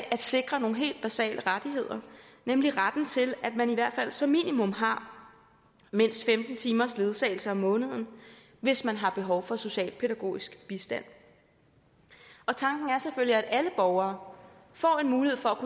at sikre nogle helt basale rettigheder nemlig retten til at man i hvert fald som minimum har mindst femten timers ledsagelse om måneden hvis man har behov for socialpædagogisk bistand tanken er selvfølgelig at alle borgere får en mulighed for